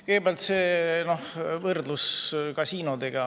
Kõigepealt see võrdlus kasiinodega.